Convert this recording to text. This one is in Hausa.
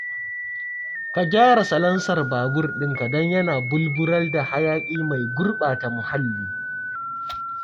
Ka gyara salansar babur ɗinka don yana bulbular da hayaƙi mai gurɓata muhalli